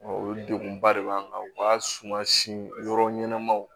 O degunba de b'an kan u ka suma si yɔrɔ ɲɛnamaw